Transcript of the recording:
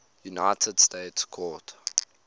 united states court